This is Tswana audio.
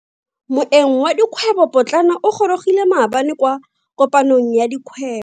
Moeng wa dikgwebo potlana o gorogile maabane kwa kopanong ya dikgwebo.